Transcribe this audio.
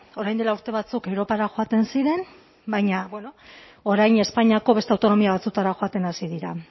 orain dela urte batzuk europara joaten ziren baina bueno orain espainiako beste autonomia batzuetara joaten hasi dira